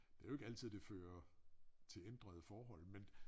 Det jo ikke altid det fører til ændrede forhold men